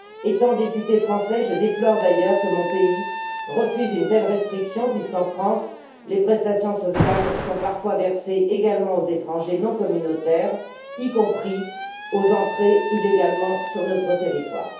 En qualité de députée française, je déplore d'ailleurs que mon pays refuse une telle restriction, puisqu'en France, les prestations sociales sont parfois versées également aux étrangers non communautaires, y compris à ceux qui sont entrés illégalement sur notre territoire.